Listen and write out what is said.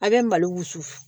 A bɛ malo wusu